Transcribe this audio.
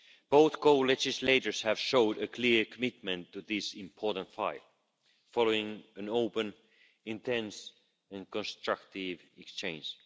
Both co legislators have shown a clear commitment to this important fight, following an open intense and constructive exchange.